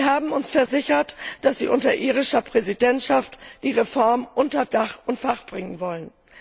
Sie haben uns versichert, dass Sie unter irischer Präsidentschaft die Reform unter Dach und Fach bringen wollen.